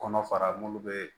Kɔnɔ fara munnu bɛ